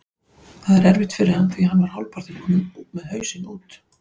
Það er erfitt fyrir hann því hann var hálfpartinn kominn með hausinn út.